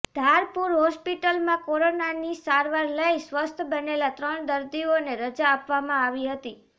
ધારપુર હોસ્પિટલમાં કોરોનાની સારવાર લઈ સ્વસ્થ બનેલાં ત્રણ દર્દીઓને રજા આપવામાં આવી હતી